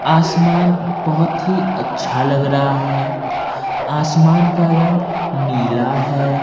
आसमान बहोत ही अच्छा लग रहा है आसमान का रंग नीला है।